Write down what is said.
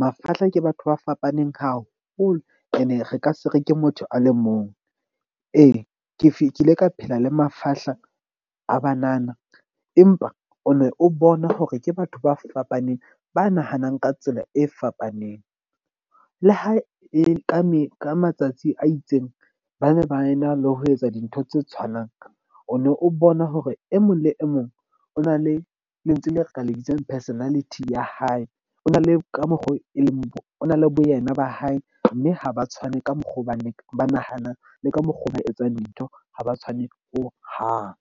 mafahla ke batho ba fapaneng haholo. Ene re ka se re ke motho a le mong ee, ke kile ka phela le mafahla a banana. Empa o ne o bona hore ke batho ba fapaneng ba nahanang ka tsela e fapaneng. Le ha e ka mme ka matsatsi a itseng, bane ba ena le ho etsa dintho tse tshwanang. O no o bona hore e mong le e mong o na le lentswe leo re ka le bitsang personality ya hae. O na le ka mokgo, e leng o na le boyena ba hae. Mme ha ba tshwane ka mokgwa ba ba nahanang le ka mokgwa oo ba etsang dintho ha ba tshwane ho hang.